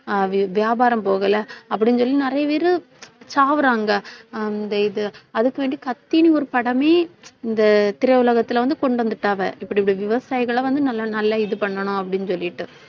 ஆஹ் வி~ வியாபாரம் போகலை அப்படின்னு சொல்லி நிறைய பேரு சாவறாங்க அந்த இது அதுக்கு வேண்டி கத்தின்னு ஒரு படமே இந்த திரை உலகத்துல வந்து கொண்டு வந்துட்டாங்க இப்படி இப்படி விவசாயிகளை வந்து நல்லா நல்லா இது பண்ணணும் அப்படின்னு சொல்லிட்டு